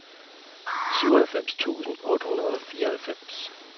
syvoghalvfems tusind otte hundrede og fireoghalvfems